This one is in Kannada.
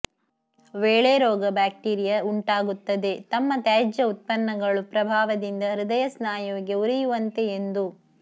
ವೇಳೆ ರೋಗ ಬ್ಯಾಕ್ಟೀರಿಯಾ ಉಂಟಾಗುತ್ತದೆ ತಮ್ಮ ತ್ಯಾಜ್ಯ ಉತ್ಪನ್ನಗಳು ಪ್ರಭಾವದಿಂದ ಹೃದಯ ಸ್ನಾಯುವಿಗೆ ಉರಿಯುವಂತೆ ಎಂದು